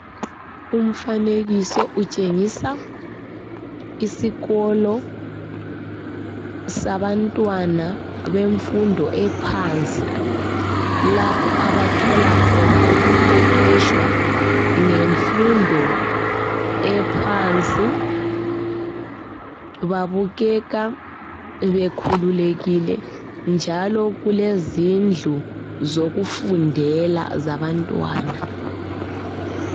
Umfanekiso utshengisa isikolo sabantwana bemfundo ephansi lapho abathola khona ukuqeqeshwa ngemfundo ephansi. Babukeka bekhululekile njalo kulezindlu zokufundela zabantwana.